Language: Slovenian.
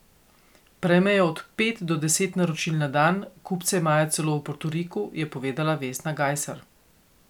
Prejmejo od pet do deset naročil na dan, kupce imajo celo v Portoriku, je povedala Vesna Gajser.